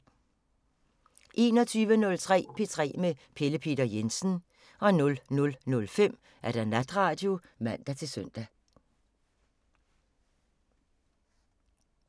21:03: P3 med Pelle Peter Jensen 00:05: Natradio (man-søn)